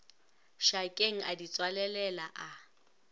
šakeng a di tswalelela a